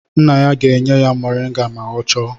Nne ya ga-enye ya moringa ma ọ chọọ